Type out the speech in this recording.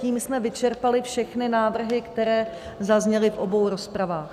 Tím jsme vyčerpali všechny návrhy, které zazněly v obou rozpravách.